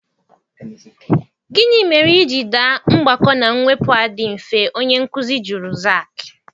Gịnị mere i ji daa mgbakọ na mwepụ a dị mfe, onye nkụzi jụrụ Zaki?